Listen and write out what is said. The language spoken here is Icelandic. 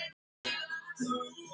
Þorbjörn: Hvernig líður þér?